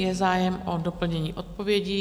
Je zájem o doplnění odpovědi?